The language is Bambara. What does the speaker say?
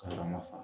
Ka mafa